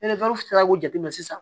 k'o jate minɛ sisan